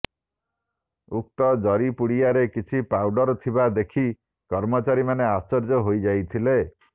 ଉକ୍ତ ଜରି ପୁଡ଼ିଆରେ କିଛି ପାଉଡର୍ ଥିବା ଦେଖି କର୍ମଚାରୀମାନେ ଆଶ୍ଚର୍ଯ୍ୟ ହୋଇଯାଇଥିଲେ